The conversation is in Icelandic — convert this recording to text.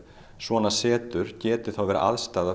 svona setur geti verið aðstaða